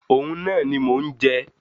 Òun náà ni mò ń jẹ.